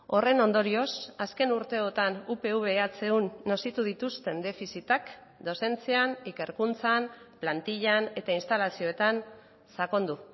horren ondorioz azken urteotan upv ehun nozitu dituzten defizitak dozentzian ikerkuntzan plantillan eta instalazioetan sakondu